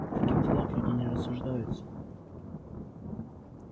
в таких делах люди не рассуждаются